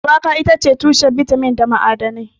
Shuwaka itace tushen bitamin da ma'adanai.